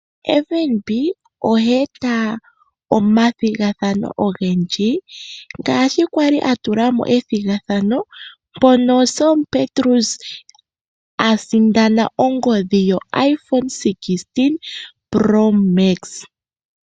FNB oha eta omathigathano ogendji ngaashi kwali atulamo ethigathano mpono Selma Petrus asindana ongodhi yo iPhone 16 Promax.